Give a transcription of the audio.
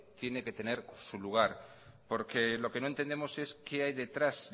tiene que tener su lugar porque lo que no entendemos es qué hay detrás